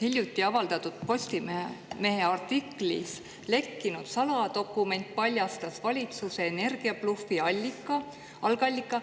Hiljuti avaldatud Postimehe artiklis lekkinud saladokumendist, mis paljastas valitsuse energiablufi algallika.